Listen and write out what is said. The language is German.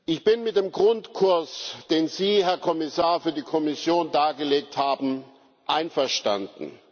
Ich bin mit dem Grundkurs, denn Sie, Herr Kommissar, für die Kommission dargelegt haben, einverstanden.